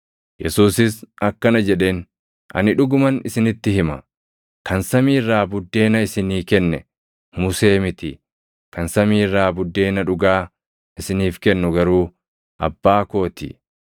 Yesuusis akkana jedheen; “Ani dhuguman isinitti hima; kan samii irraa buddeena isinii kenne Musee miti; kan samii irraa buddeena dhugaa isiniif kennu garuu Abbaa koo ti.